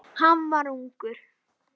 Hann var ungur.